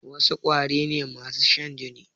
Wasu ƙwari ne masu shan jini?